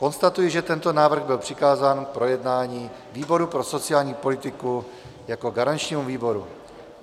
Konstatuji, že tento návrh byl přikázán k projednání výboru pro sociální politiku jako garančnímu výboru.